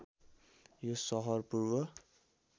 यो सहर पूर्व